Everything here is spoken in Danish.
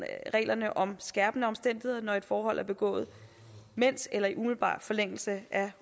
reglerne om skærpende omstændigheder når et forhold er begået mens eller i umiddelbar forlængelse af